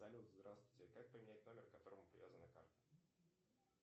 салют здравствуйте как поменять номер к которому привязана карта